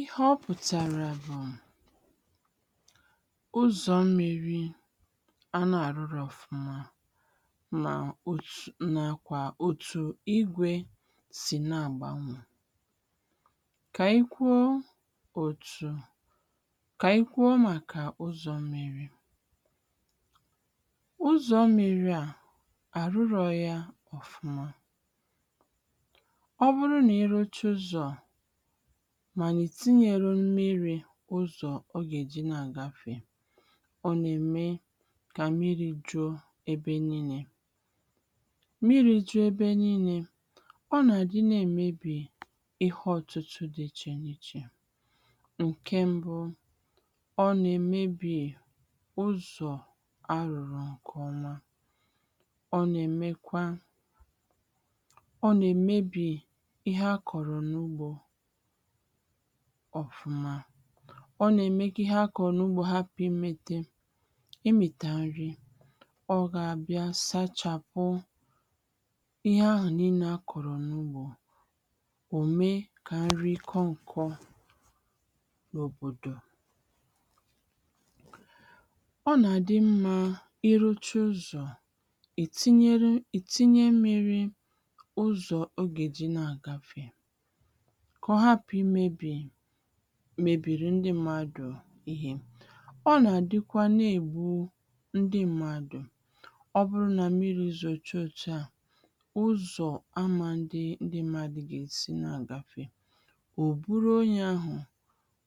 Ìhè ọ pùtàrà bụ̀, ụzọ̀ mmiri a nà-àrụrọ ọ̀fụma, mà òtù, nà-akwà òtù igwė sì na-àgbanwè. Kà i kwuo òtù kà i kwuo màkà ụzọ̀ mmiri. Ụzọ ̀ mmiri à àrụrọ yȧ ọ̀fụma, ọ bụrụ na-irucha ụzọ̀ mànà ìtinyere mmiri ụzọ̀ ọ gà-èji na-àgafè, ọ nà-ème kà mmiri jụụ e ebe niilė. Mmiri jụe ebe niilė, ọ nà-àdị na-èmebì ihe ọ̀tụtụ dị ichè n’ichè. Nké mbụ, ọ nà-èmebì ụzọ̀ a rùrù ǹkè ọma, ọ nà-èmekwa, ọ nà-èmebì ihe àkọrọ n'ụgbọ ọ̀fụma. Ọ nà-ème kà ihe akọ̀ro n’ugbȯ hapụ̀ ịmẹtẹ, ịmị̀ta nri. Ọ gà-abịa sachàpụ ihe ahụ̀ n’inė akọ̀rọ̀ n’ugbȯ, òme kà nri kọǹkọ̀ n’òbòdò. Ọ nà-àdị mmȧ ịruchaa ̇ ụzọ̀ ètinyere ètinye mmiri ụzọ̀ ọ gà-èji na-àgafè, kọ̀ hapụ̀ imėbì mèbìrì ndị mmadụ̀ ihė. Ọ nà-àdịkwa na-èbu ndị mmadụ̀. Ọ bụrụ nà mmiri zoo chaa òtù a, ụzọ̀ ama adị ndị mmadụ gà-èsi na àgafè, ò buru onye ahụ̀